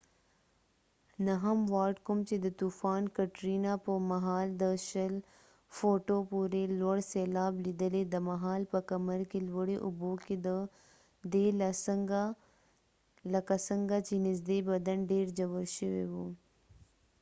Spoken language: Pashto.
نهم وارډ، کوم چې د طوفان کټرینا په مهال د ۲۰ فوټو پورې لوړ سیلاب لیدلی، دا مهال په کمر کې لوړې اوبو کې دی لکه څنګه چې نزدې بدن ډیر ژور شوی و